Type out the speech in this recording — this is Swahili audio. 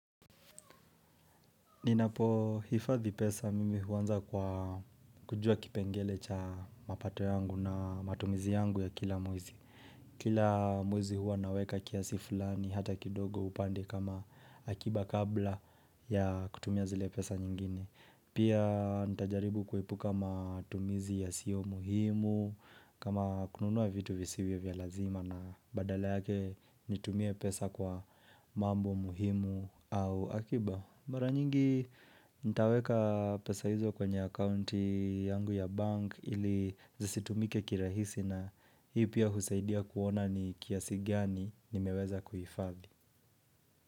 Ninapohifadhi pesa mimi huanza kwa kujua kipengele cha mapato yangu na matumizi yangu ya kila mwezi. Kila mwezi huwa naweka kiasi fulani hata kidogo upande kama akiba kabla ya kutumia zile pesa nyingine. Pia nitajaribu kuepuka matumizi yasio muhimu, kama kununua vitu visivyo vya lazima na badala yake nitumie pesa kwa mambo muhimu au akiba. Mara nyingi nitaweka pesa hizo kwenye akaunti yangu ya bank ili zisitumike kirahisi na hii pia husaidia kuona ni kiasi gani nimeweza kuhifadhi.